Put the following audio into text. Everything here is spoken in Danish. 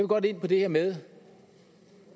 godt ind på det her med